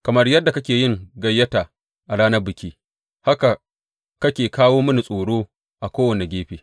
Kamar yadda kake yin gayyata a ranar biki, haka kake kawo mini tsoro a kowane gefe.